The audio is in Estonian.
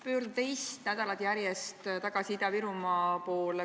Pöördun teist nädalat järjest tagasi Ida-Virumaa teema juurde.